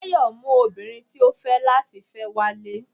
Tayo mú obinrín tí o fe lati fẹ walé